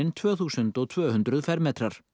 tvö þúsund tvö hundruð fermetrar